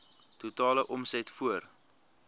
totale omset voor